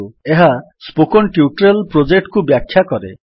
ଏହା spoken tutorial project କୁ ବ୍ୟାଖ୍ୟା କରେ